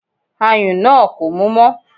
Ayùn náà kò mú mọ́